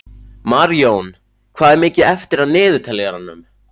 Marjón, hvað er mikið eftir af niðurteljaranum?